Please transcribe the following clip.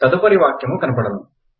తదుపరి వాక్యము కనపడును